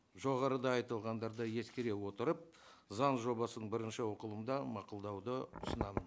жоғарыда айтылғандарды ескере отырып заң жобасын бірінші оқылымда мақұлдауды ұсынамын